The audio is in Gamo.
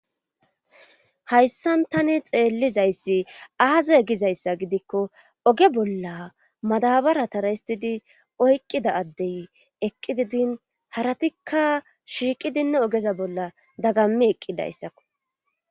hayssan tani xeellizayssi aaza gizayssa gidikko oge bolla madabara tara histidi oyqqida addey eqqididin haratikka shiiqidinne ogeza bolla dagammi eqqidayssakko